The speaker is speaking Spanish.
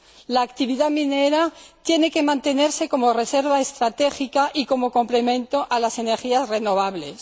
La actividad minera tiene que mantenerse como reserva estratégica y como complemento a las energías renovables.